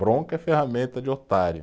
Bronca é ferramenta de otário.